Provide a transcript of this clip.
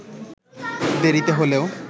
দেরিতে হলেও